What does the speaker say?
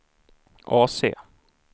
AC